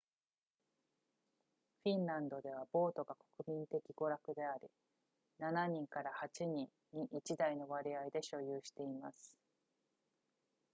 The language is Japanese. フィンランドではボートが国民的娯楽であり 7～8 人に1台の割合で所有しています